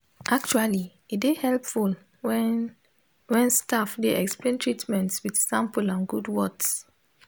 actually e dey hepful wen wen staf dey explain treatments wit simple and good words